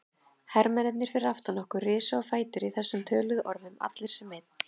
Hermennirnir fyrir aftan okkur risu á fætur í þessum töluðum orðum, allir sem einn.